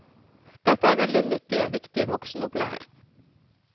Dette er veldig nyttig og viktig voksenopplæring.